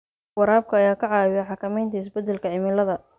Waraabka ayaa ka caawiya xakamaynta isbedelka cimilada.